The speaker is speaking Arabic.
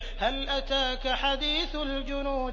هَلْ أَتَاكَ حَدِيثُ الْجُنُودِ